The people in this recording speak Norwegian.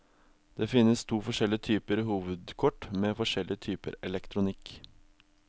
Det finnes forskjellige typer hovedkort med forskjellige typer elektronikk.